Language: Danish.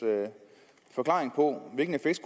forklaring på hvilken effekt